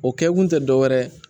O kɛ kun tɛ dɔ wɛrɛ ye